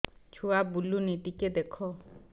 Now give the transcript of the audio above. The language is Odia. ଛୁଆ ବୁଲୁନି ଟିକେ ଦେଖ